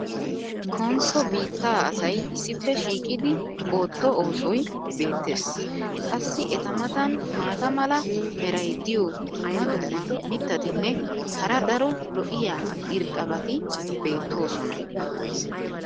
konsso biittaa asay issippe shiiqidi ootto oosoy beetees. qassi eta matan maata mala meray diyo dumma dumma mittatinne hara daro lo'iya irxxabati beetoosona.